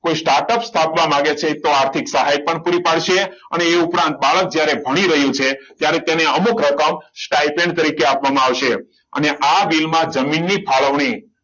કોઈ startup સ્થાપવા માંગે છે તો આર્થિક સહાય પણ પૂરી પાડશે અને એ ઉપરાંત બાળક જ્યારે ભણી રહ્યું છે ત્યારે તેને અમુક રકમ સ્ટાઈફંડ તરીકે આપવામાં આવશે અને આ બિલમાં જમીનની ફાળવણી